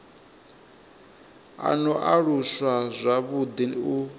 a no aluswa zwavhuḓi u